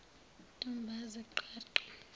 ntombazi qha qha